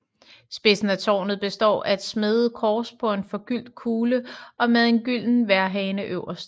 Spidsen af tårnet består af et smedet kors på en forgyldt kugle og med en gylden vejrhane øverst